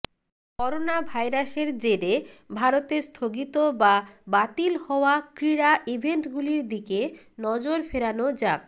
corona ভাইরাসের জেরে ভারতে স্থগিত বা বাতিল হওয়া ক্রীড়া ইভেন্টগুলির দিকে নজর ফেরানো যাক